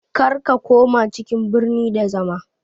Kar ka koma cikin birni da zama